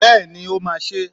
Bẹ́ẹ̀ni, o ma se